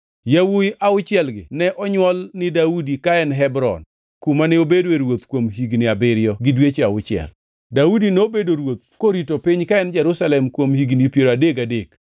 Yawuowi auchielgi ne onywol ni Daudi ka en Hebron, kuma ne obedoe ruoth kuom higni abiriyo gi dweche auchiel. Daudi nobedo ruoth korito piny ka en Jerusalem kuom higni piero adek gadek,